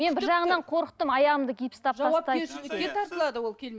мен бір жағынан қорықтым аяғымды гипстап